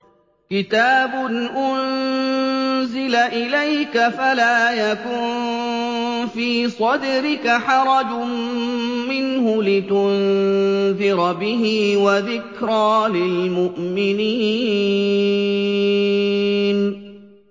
كِتَابٌ أُنزِلَ إِلَيْكَ فَلَا يَكُن فِي صَدْرِكَ حَرَجٌ مِّنْهُ لِتُنذِرَ بِهِ وَذِكْرَىٰ لِلْمُؤْمِنِينَ